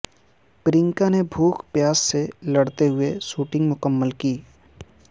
پرینکا نے بھوک پیاس سے لڑتے ہوئے شوٹنگ مکمل کی